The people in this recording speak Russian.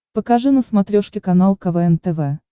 покажи на смотрешке канал квн тв